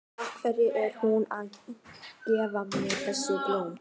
Af hverju er hún að gefa mér þessi blóm?